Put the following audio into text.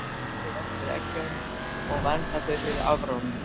Kvendýrið verpir eggjum og verndar þau fyrir afráni.